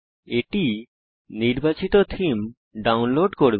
এটি নির্বাচিত theme download করবে